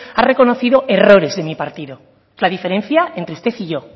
ha reconocido errores de mi partido la diferencia entre usted y yo